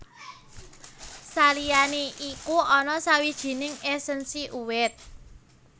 Saliyané iku ana sawijining èsènsi uwit